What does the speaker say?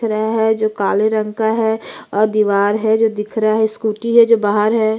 दिख रहा है जो काले रंग का है और दीवार है जो दिख रहा है स्कूटी है जो बाहर है।